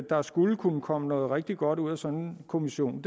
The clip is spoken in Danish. der skulle kunne komme noget rigtig godt ud af sådan en kommission